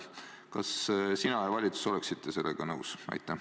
Kas sina ja kogu valitsus oleksite sellega nõus?